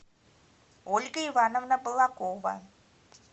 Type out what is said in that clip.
ольга ивановна балакова